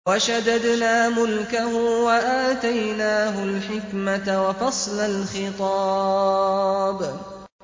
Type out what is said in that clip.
وَشَدَدْنَا مُلْكَهُ وَآتَيْنَاهُ الْحِكْمَةَ وَفَصْلَ الْخِطَابِ